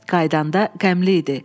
Qayıdanda qəmli idi.